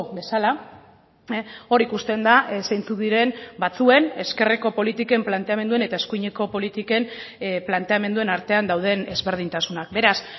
bezala hor ikusten da zeintzuk diren batzuen ezkerreko politiken planteamenduen eta eskuineko politiken planteamenduen artean dauden ezberdintasunak beraz